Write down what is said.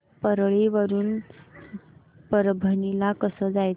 परळी वरून परभणी ला कसं जायचं